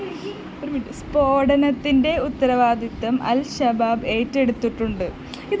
സ്‌ഫോടനത്തിന്റെ ഉത്തരവാദിത്വം അല്‍ഷബാബ് ഏറ്റെടുത്തിട്ടുണ്ട്